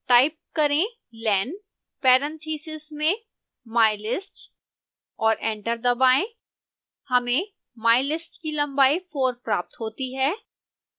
type करें len parentheses में mylist और एंटर दबाएं and press enter हमें mylist की लंबाई four प्राप्त होती है